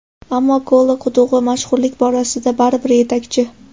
Ammo Kola qudug‘i mashhurlik borasida baribir yetakchi.